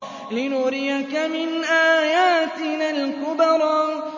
لِنُرِيَكَ مِنْ آيَاتِنَا الْكُبْرَى